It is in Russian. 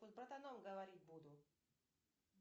с братаном говорить буду